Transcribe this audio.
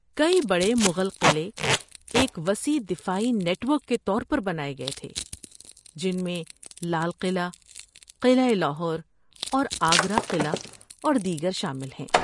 کئی بڑے مغل قلعے ایک وسیع دفاعی نیٹ ورک کے طور پر بنائے گئے تھے، جن میں لال قلعہ، قلعہ لاہور، اور آگرہ قلعہ اور دیگر شامل ہیں۔